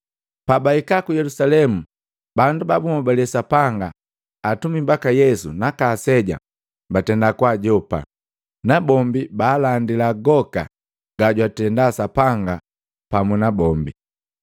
Pabahika ku Yelusalemu bandu ba bunhobale Sapanga, atumi baka Yesu naka aseja batenda kwaajopa nabombi baalandila goka gajwatenda Sapanga pamu nabombi.